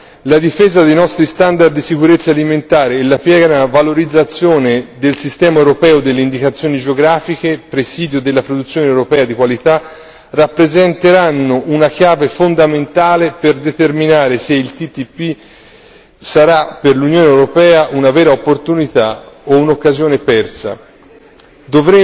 In particolare, la difesa dei nostri standard di sicurezza alimentari e la piena valorizzazione del sistema europeo delle indicazioni geografiche, presidio della produzione europea di qualità, rappresenteranno una chiave fondamentale per determinare se il TTIP sarà per l'Unione europea una vera opportunità o un'occasione persa.